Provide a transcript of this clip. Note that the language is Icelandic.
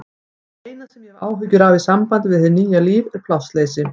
Það eina sem ég hef áhyggjur af í sambandi við nýja lífið er plássleysi.